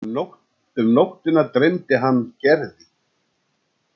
Um nóttina dreymdi hann Gerði.